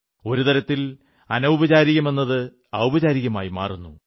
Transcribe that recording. ഒരു തരത്തിൽ അനൌപചാരികമെന്നത് ഔപചാരികമായി മാറുന്നു